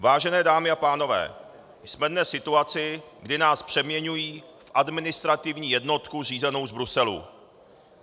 Vážené dámy a pánové, jsme dnes v situaci, kdy nás přeměňují v administrativní jednotku řízenou z Bruselu.